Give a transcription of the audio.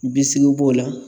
Bisikiw b'o la.